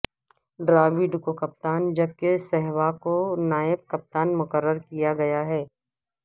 ڈراوڈ کو کپتان جبکہ سہواگ کو نائب کپتان مقرر کیا گیا ہے